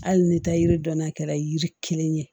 Hali ni taa yiri dɔnna kɛra yiri kelen ye